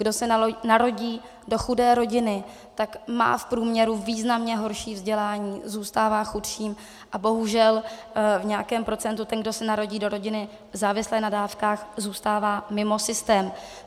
Kdo se narodí do chudé rodiny, tak má v průměru významně horší vzdělání, zůstává chudším a bohužel v nějakém procentu ten, kdo se narodí do rodiny závislé na dávkách, zůstává mimo systém.